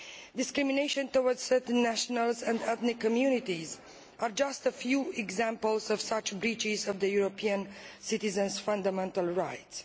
discrimination towards certain nationals and ethnic communities. These are just a few examples of such breaches of European citizens' fundamental rights.